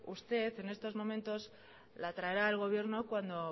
usted en estos momentos lo traerá el gobierno cuando